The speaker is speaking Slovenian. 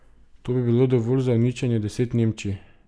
To bi bilo dovolj za uničenje deset Nemčij.